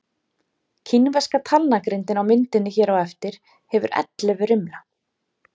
Kínverska talnagrindin á myndinni hér á eftir hefur ellefu rimla.